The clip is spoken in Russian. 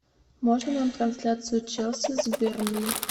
можно нам трансляцию челси с бернли